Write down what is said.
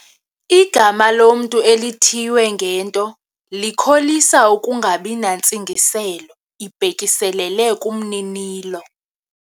Igama lomntu elithiywe ngento likholisa ukungabi nantsingiselo ibhekiselele kumninilo.